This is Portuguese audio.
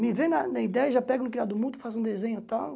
Me vem na na ideia e já pega no criado do mundo, faz um desenho e tal.